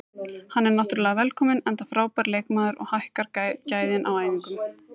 Hann er náttúrulega velkominn enda frábær leikmaður og hækkar gæðin á æfingunni.